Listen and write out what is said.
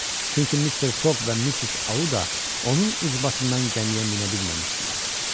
Çünki Mister Foq və Missis Auda onun ucbatından gəmiyə minə bilməmişdilər.